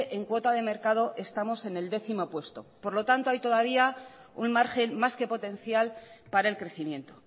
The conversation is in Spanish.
en cuota de mercado estamos en el décimo puesto por lo tanto hay todavía un margen más que potencial para el crecimiento